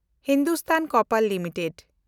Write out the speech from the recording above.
Hindustan copper limited